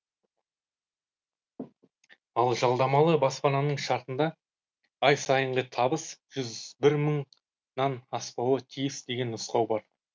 ал жалдамалы баспананың шартында ай сайынғы табыс жүз бір мыңнан аспауы тиіс деген нұсқау бар